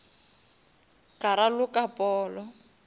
ka raloka polo